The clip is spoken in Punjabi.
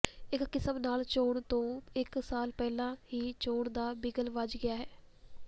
ਇੱਕ ਕਿਸਮ ਨਾਲ ਚੋਣ ਤੋਂ ਇੱਕ ਸਾਲ ਪਹਿਲਾਂ ਹੀ ਚੋਣ ਦਾ ਬਿਗਲ ਵੱਜ ਗਿਆ ਹੈ